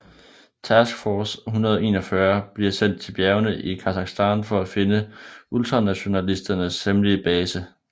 Task Force 141 bliver sendt til bjergene i Kasakhstan for at finde ultranationalisternes hemmelige base